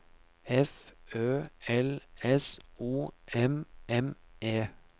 F Ø L S O M M E